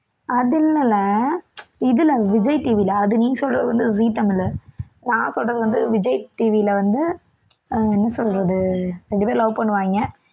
அது இல்லைல இதில விஜய் TV ல அது நீ சொல்றது வந்து ஜீ தமிழ், நான் சொல்றது வந்து விஜய் TV ல வந்து அஹ் என்ன சொல்றது இரண்டு பேர் love பண்ணுவாங்க